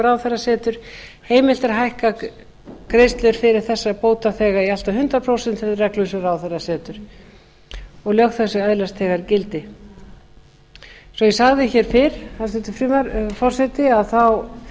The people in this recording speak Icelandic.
ráðherra setur heimilt er að hækka greiðslur fyrir þessa bótaþega í allt að hundrað prósent eftir reglum sem ráðherra setur lög þessi öðlast þegar gildi eins og ég sagði hér fyrr hæstvirtur forseti